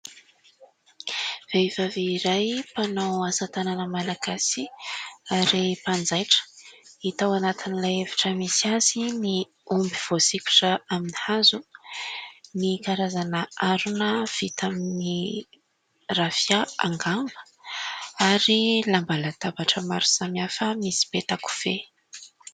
Vehivavy iray mpanao asa tanana malagasy ary mpanjaitra. Hita ao anatin'ilay efitra misy azy ny omby voasikotra amin'ny hazo, ny karazana harona vita amin'ny rafia angamba ary lamba latabatra maro samihafa misy petakofehy.